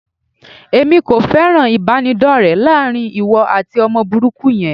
Èmi kò fẹ́ràn ìbánidọ́rẹ láàrin ìwọ àti ọmọ burúkú yẹn.